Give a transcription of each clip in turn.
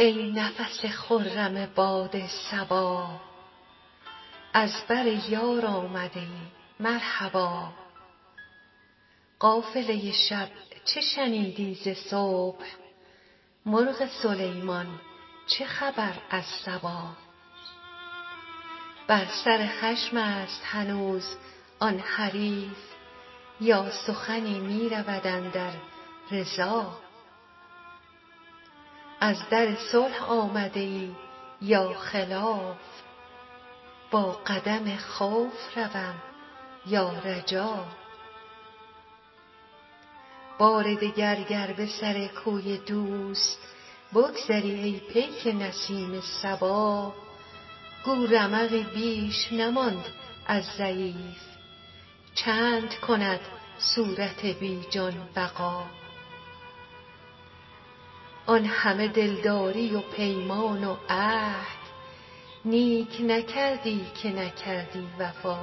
ای نفس خرم باد صبا از بر یار آمده ای مرحبا قافله شب چه شنیدی ز صبح مرغ سلیمان چه خبر از سبا بر سر خشم است هنوز آن حریف یا سخنی می رود اندر رضا از در صلح آمده ای یا خلاف با قدم خوف روم یا رجا بار دگر گر به سر کوی دوست بگذری ای پیک نسیم صبا گو رمقی بیش نماند از ضعیف چند کند صورت بی جان بقا آن همه دلداری و پیمان و عهد نیک نکردی که نکردی وفا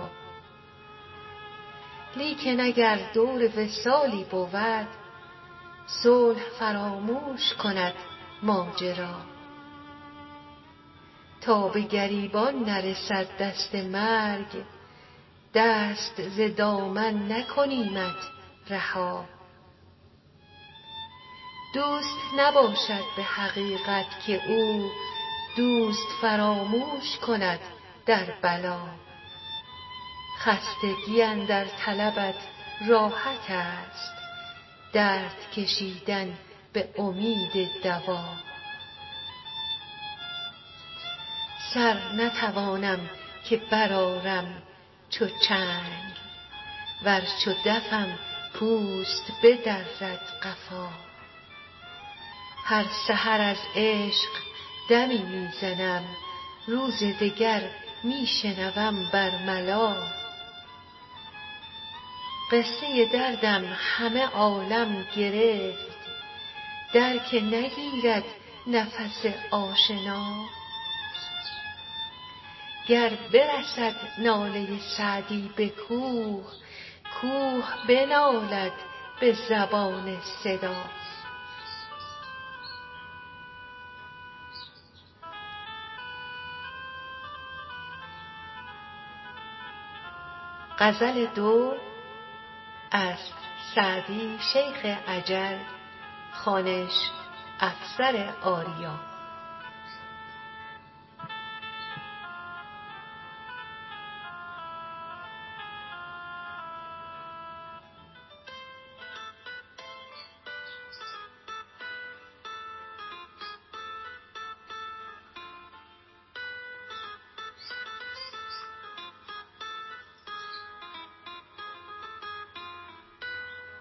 لیکن اگر دور وصالی بود صلح فراموش کند ماجرا تا به گریبان نرسد دست مرگ دست ز دامن نکنیمت رها دوست نباشد به حقیقت که او دوست فراموش کند در بلا خستگی اندر طلبت راحت است درد کشیدن به امید دوا سر نتوانم که برآرم چو چنگ ور چو دفم پوست بدرد قفا هر سحر از عشق دمی می زنم روز دگر می شنوم بر ملا قصه دردم همه عالم گرفت در که نگیرد نفس آشنا گر برسد ناله سعدی به کوه کوه بنالد به زبان صدا